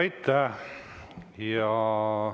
Aitäh!